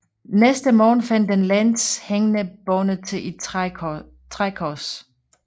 Næste morgen fandt de Lenz hængende bundet til et trækors